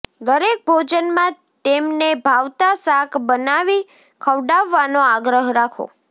દરેક ભોજનમાં તેમને ભાવતાં શાક બનાવી ખવડાવવાનો આગ્રહ રાખો